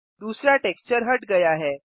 दूसरा टेक्सचर हट गया है